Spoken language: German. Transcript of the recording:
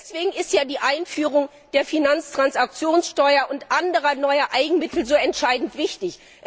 Deswegen ist ja die Einführung der Finanztransaktionssteuer und anderer neuer Eigenmittel so entscheidend wichtig.